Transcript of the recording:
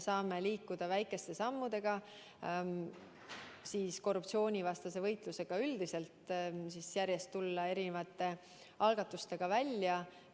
Me saame korruptsioonivastases võitluses väikeste sammudega edasi liikuda, järjest tulla erinevate algatustega välja.